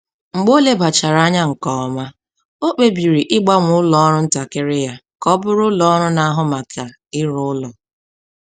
Mgbe o lebachara anya nke ọma, o kpebiri ịgbanwe ụlọọrụ ntakịrị ya ka ọ bụrụ ụlọọrụ na-ahụ maka ire ụlọ.